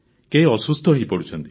କେହି ଅସୁସ୍ଥ ହୋଇପଡ଼ୁଛନ୍ତି